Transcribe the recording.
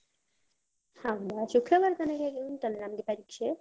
ಹೌದಾ ಶುಕ್ರವಾರ ತನಕ ಇದ್ ಉಂಟಲ್ಲ ನಮ್ಗೆ ಪರೀಕ್ಷೆ?